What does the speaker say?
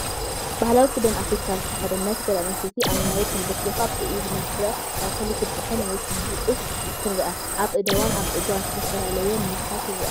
ባህላዊ ክዳን ኣፍሪቃ ዝተኸድነት ጓል ኣንስተይቲ ኣብ መሬት ተንበርኪኻ ብኢድ መፍረ እኽሊ ክትጥሕን ወይ ክትደቁስ ትርአ። ኣብ ኣእዳዋን ኣብ ጸጉራን ዝተፈላለየ ምልክት ይርአ።